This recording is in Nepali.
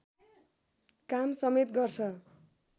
काम समेत गर्छ